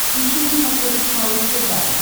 ищи на смотрешке малыш тв